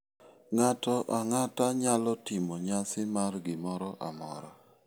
Ng'ato ang'ata nyalo timo nyasi mar gimoro amora.